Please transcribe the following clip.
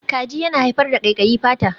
Kaji yana haifar da ƙaiƙayi fata.